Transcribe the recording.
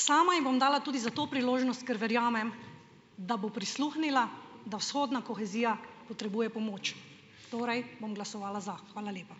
Sama ji bom dala tudi zato priložnost, ker verjamem, da bo prisluhnila, da vzhodna kohezija potrebuje pomoč. Torej bom glasovala za. Hvala lepa.